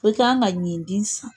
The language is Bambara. Bɛɛ kan ka ɲinti san.